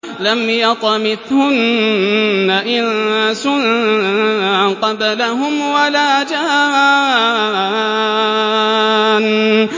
لَمْ يَطْمِثْهُنَّ إِنسٌ قَبْلَهُمْ وَلَا جَانٌّ